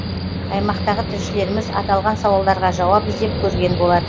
аймақтағы тілшілеріміз аталған сауалдарға жауап іздеп көрген болатын